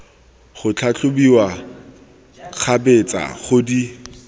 go tlhatlhobiwa kgabetsa go di